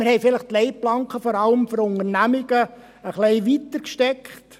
Wir haben vielleicht die Leitplanken vor allem für Unternehmungen etwas weiter gesteckt.